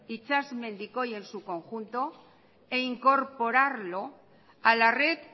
itsasmendikoi en su conjunto e incorporarlo a la red